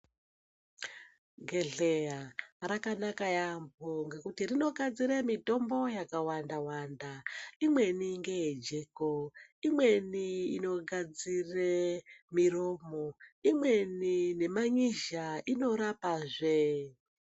Gedhleya rakanaka yambo ngekuti rinogadzire mitombo yakawanda imweni ngeyejeko, imweni inogadzire miromo, imweni neman'izha inorapazve.